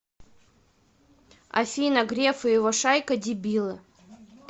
афина греф и его шайка дебилы